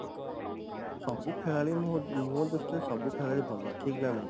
ସବୁ ଖେଳାଳୀ ମୋ ମୋ ଦୃଷ୍ଟି ରୁ ସବୁ ଖେଳାଳୀ ଭଲ ଠିକ ନା ନାଇଁ